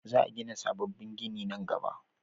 Za a gina sabobbin gini nan gaba